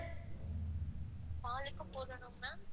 Call லுக்கும் போடணும் ma'am,